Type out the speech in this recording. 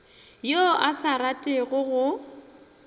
yo a sa ratego go